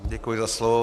Děkuji za slovo.